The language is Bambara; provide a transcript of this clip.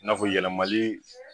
I n'a fɔ yɛlɛmali